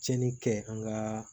Cɛnni kɛ an ka